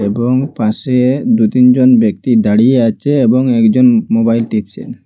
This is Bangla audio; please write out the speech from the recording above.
এবং পাশে দু-তিন জন ব্যক্তি দাঁড়িয়ে আচে এবং একজন মো-মোবাইল টিপচেন।